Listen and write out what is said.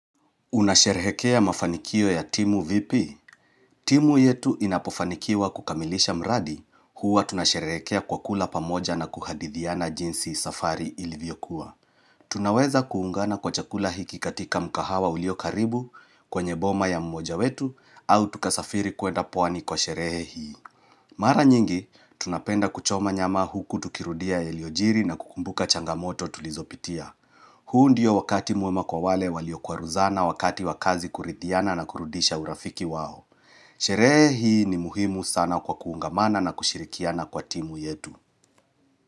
Unasherehekea mafanikio ya timu vipi? Timu yetu inapofanikiwa kukamilisha mradi huwa tunasherehekea kwa kula pamoja na kuhadithiana jinsi safari ilivyokuwa. Tunaweza kuungana kwa chakula hiki katika mkahawa ulio karibu kwenye boma ya mmoja wetu au tukasafiri kwenda pwani kwa sherehe hii. Mara nyingi, tunapenda kuchoma nyama huku tukirudia yaliyojiri na kukumbuka changamoto tulizopitia. Huu ndiyo wakati mwema kwa wale walio kwaruzana wakati wa kazi kuridhiana na kurudisha urafiki wao. Sherehe hii ni muhimu sana kwa kuungamana na kushirikiana kwa timu yetu.